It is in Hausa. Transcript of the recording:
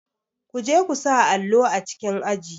Kuje ku sa allo a cikin aji.